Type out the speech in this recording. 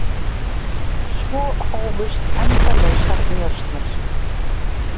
Svo hófust endalausar njósnir.